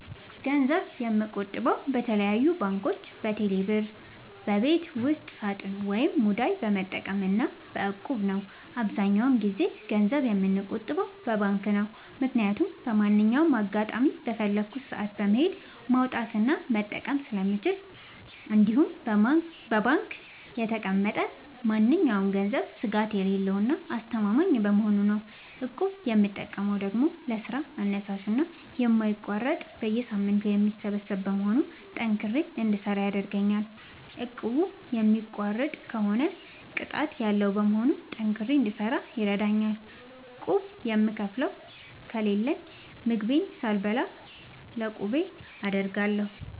ገንዘብ የምቆጥበው በተለያዩ ባንኮች÷በቴሌ ብር ÷በቤት ውስጥ ሳጥን ወይም ሙዳይ በመጠቀም እና በ እቁብ ነው። አብዛኛውን ጊዜ ገንዘብ የምቆጥበው በባንክ ነው። ምክያቱም በማንኛውም አጋጣሚ በፈለኩት ሰአት በመሄድ ማውጣት እና መጠቀም ስለምችል እንዲሁም በባንክ የተቀመጠ ማንኛውም ገንዘብ ስጋት የሌለው እና አስተማማኝ በመሆኑ ነው። እቁብ የምጠቀመው ደግሞ ለስራ አነሳሽና የማይቋረጥ በየሳምንቱ የሚሰበሰብ በመሆኑ ጠንክሬ እንድሰራ ያደርገኛል። እቁቡን የሚቋርጥ ከሆነ ቅጣት ያለዉ በመሆኑ ጠንክሬ እንድሰራ ይረደኛል። ቁብ የምከፍለው ከሌለኝ ምግቤን ሳልበላ ለቁቤ አደርጋለሁ።